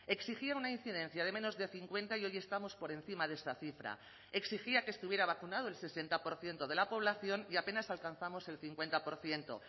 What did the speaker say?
exigía una incidencia de menos de cincuenta y hoy estamos por encima de esta cifra exigía que estuviera vacunado el sesenta por ciento de la población y apenas alcanzamos el cincuenta por ciento